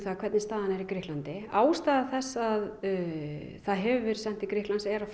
hvernig staðan er í Grikklandi ástæða þess að það hefur verið sent til Grikklands er að